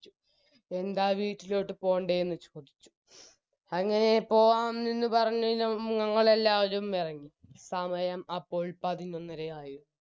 ബാ വീട്ടിലോട്ട് പോണ്ടെന്ന് ചോദിച്ചു അങ്ങനെ പോകാമെന്ന് പറഞ്ഞ് ഞങ്ങളെല്ലാവരും എറങ്ങി സമയം അപ്പോൾ പതിനൊന്നരയായി